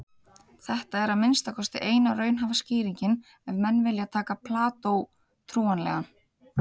Þetta er að minnsta kosti eina raunhæfa skýringin ef menn vilja taka Plató trúanlegan.